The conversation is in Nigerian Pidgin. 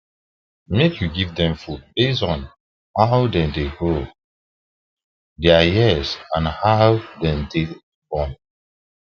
make you give them food based on how the da grow their um years and how them take born